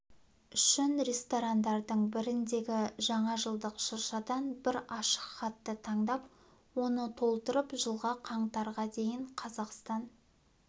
үшін ресторандардың біріндегі жаңажылдық шыршадан бір ашық хатты таңдап оны толтырып жылғы қаңтарға дейін қазақстан